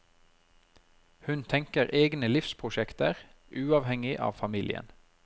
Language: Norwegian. Hun tenker egne livsprosjekter, uavhengig av familien.